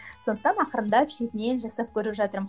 сондықтан ақырындап шетінен жасап көріп жатырмын